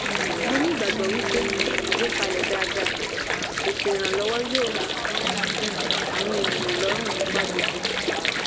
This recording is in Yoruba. mo ní ìgbàgbọ́ wípé sise àgbékalẹ̀ daada eto ìrànlọ́wọ́ yo um àwọn ènìyàn lọ́rùn nípa gógó.